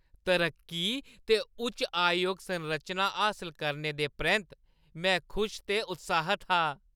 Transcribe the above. तरक्की ते उच्च आयोग संरचना हासल करने दे परैंत्त, में खुश ते उत्साह्‌त हा।